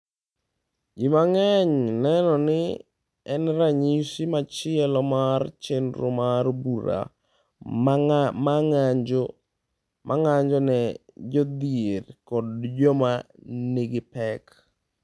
Ji mang’eny neno ni en ranyisi machielo mar chenro mar bura ma ng’anjo ne jodhier kod joma nigi pek.